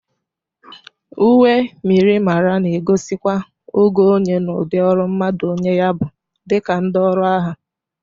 Uwe myirimara na egosikwa ogo onye n' udị ọrụ mmadụ onye yi ya bụ dị ka ndị ọrụ agha.